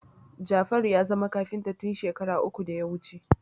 Jafaru ya zama kafinta tun shekara uku da ya wuce